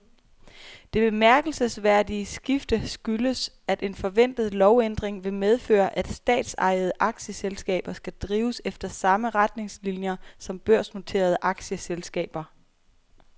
Det bemærkelsesværdige skifte skyldes, at en forventet lovændring vil medføre, at statsejede aktieselskaber skal drives efter samme retningslinier som børsnoterede aktieselskaber.